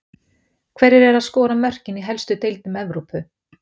Hverjir eru að skora mörkin í helstu deildum Evrópu?